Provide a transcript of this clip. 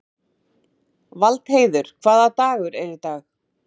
Valdheiður, hvaða dagur er í dag?